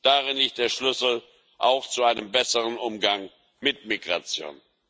Darin liegt der Schlüssel, auch zu einem besseren Umgang mit Migration.